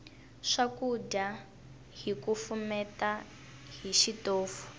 swakudya hi kufumeta hi xitofu